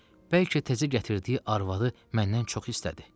Bəlkə təzə gətirdiyi arvadı məndən çox istədi.